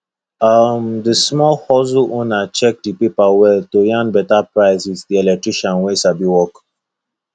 um the small hustle owner check the paper well to yarn better price with the electrician wey sabi work